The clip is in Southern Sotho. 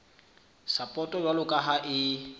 sapoto jwalo ka ha e